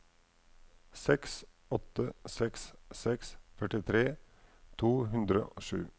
seks åtte seks seks førtitre to hundre og sju